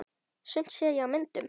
Sumt sé ég á myndum.